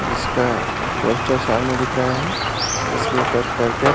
जिसका पोस्टर सामने दिख रहा है उसके उपर करकट --